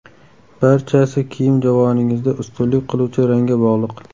Barchasi kiyim javoningizda ustunlik qiluvchi rangga bog‘liq.